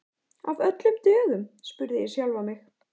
Af öllum dögum? spurði ég sjálfa mig.